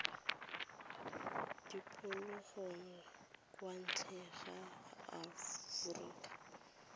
diphologolo kwa ntle ga aforika